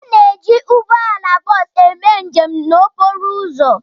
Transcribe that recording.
A na-eji ụgbọ ala dị ka ụzọ ọha hi eme njem